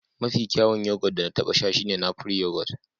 Mafi kyawun yoghurt da na taɓa sha shine napri yoghurt